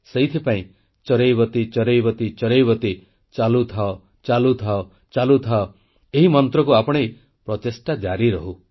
ସେଥିପାଇଁ ଚରୈବେତି ଚରୈବେତି ଚରୈବେତି ଚାଲୁ ଥାଅ ଚାଲୁ ଥାଅ ଚାଲୁ ଥାଅ ଏହି ମନ୍ତ୍ରକୁ ଆପଣେଇ ପ୍ରଚେଷ୍ଟା ଜାରିରହୁ